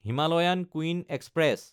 Himalayan Queen express